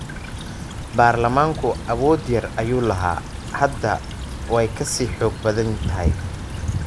Baarlamaanku awood yar ayuu lahaa. Hadda way ka sii xoog badan tahay.